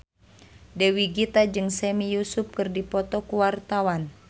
Dewi Gita jeung Sami Yusuf keur dipoto ku wartawan